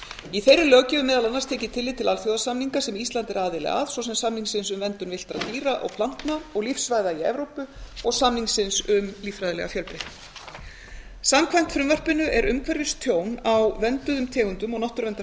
í þeirri löggjöf er meðal annars tekið tillit til alþjóðasamninga sem ísland er aðili að svo sem samningsins um verndun villtra dýra og plantna og lífsvæða í evrópu og samnings um líffræðilega fjölbreytni samkvæmt frumvarpinu er umhverfistjón á vernduðum tegundum og